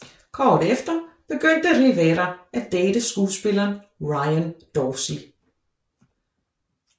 Kort efter begyndte Rivera at date skuespilleren Ryan Dorsey